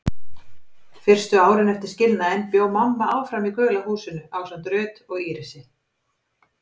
Fyrstu árin eftir skilnaðinn bjó mamma áfram í gula húsinu ásamt Ruth og Írisi.